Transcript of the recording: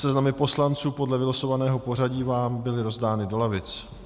Seznamy poslanců podle vylosovaného pořadí vám byly rozdány do lavic.